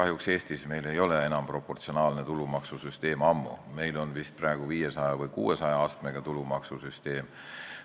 Kahjuks ei ole meil Eestis enam ammu proportsionaalne tulumaksusüsteem, meil on praegu vist 500 või 600 astmega tulumaksusüsteem.